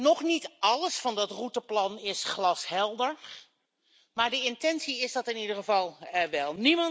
Nog niet alles van dat routeplan is glashelder, maar de intentie is dat in ieder geval wel.